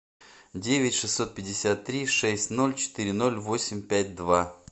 девять шестьсот пятьдесят три шесть ноль четыре ноль восемь пять два